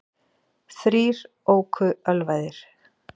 Þrír óku ölvaðir